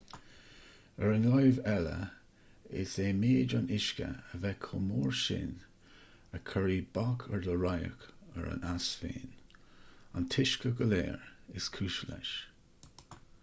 ar an láimh eile is é méid an uisce a bheith chomh mór sin a chuirfidh bac ar do radharc ar an eas féin-an t-uisce go léir is cúis leis